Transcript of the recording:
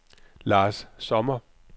Lars Sommer